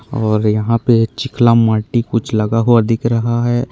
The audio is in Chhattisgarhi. और यहाँ पे छिकला माटी कुछ लगा हुआ दिख रहा हैं।